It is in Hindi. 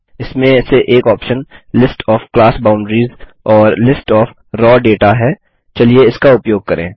इसमें से एक option list of class boundaries और लिस्ट ओएफ राव दाता है चलिए इसका उपयोग करें